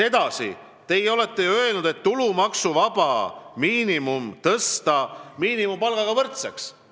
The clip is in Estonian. Edasi, teie olete ju öelnud, et tulumaksuvaba miinimum tuleb tõsta miinimumpalgaga võrdsele tasemele.